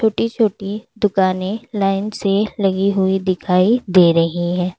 छोटी छोटी दुकाने लाइन से लगी हुई दिखाई दे रही है।